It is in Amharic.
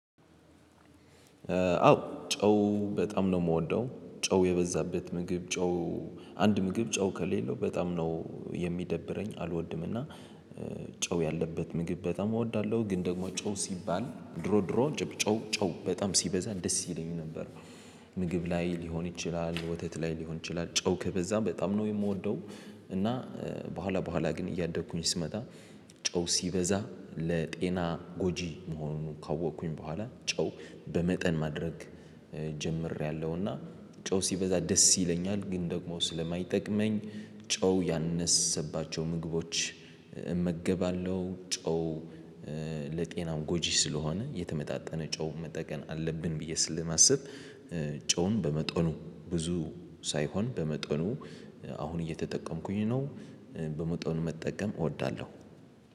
አዎ ጨው በጣም ነው የምወደው ጨው የበዛበት ምግብ ጨው። አንድ ምግብ ጨው ከሌለው በጣም ነው የሚደብረኝ አልወድምና። ጨው ያለበት ምግብ በጣም እወዳለሁ። ግን ደግሞ ጨው ሲባል ድሮ ድሮ ጨው ጨው በጣም ሲበዛ ደስ ይለኛል ነበር። ምግብ ላይ ሊሆን ይችላል ወተት ላይ ሊሆን ይችላል ጨው ከበዛ በጣም ነው የምወደው። እና በኋላ በኋላ ግን እያደግኩኝ ስመጣ ጨው ሲበዛ ለጤና ጎጂ መሆኑን ካወቅኩኝ በኋላ ጨው በመጠን ማድረግ ጀምሬያለሁና። ጨው ሲበዛ ደስ ይለኛል ግን ደግሞ ስለማይጠቅመኝ ጨው ያነሰባቸው ምግቦች እመገባለሁ። ጨው ለጤናው ጎጂ ስለሆነ የተመጣጠነ ጨው መጠቀም አለብን ብዬ ስለማስብ። ጨውን በመጠኑ ብዙ ሳይሆን በመጠኑ አሁን እየተጠቀምኩኝ ነው። በመጠኑ መጠቀም እወዳለሁ።